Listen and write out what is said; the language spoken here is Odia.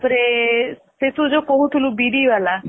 ତା ପରେ ତୁ ଯଉ କହୁ ଥିଲୁ ବିରି ଵାଲା